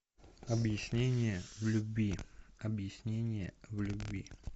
объяснение в любви объяснение в любви